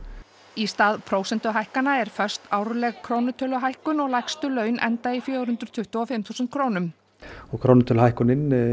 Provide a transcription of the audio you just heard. í stað prósentuhækkana er föst árleg krónutöluhækkun og lægstu laun enda í fjögur hundruð tuttugu og fimm þúsund krónum og krónutöluhækkunin